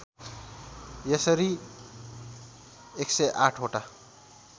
यसरी १०८ वटा